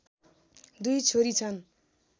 दुई छोरी छन्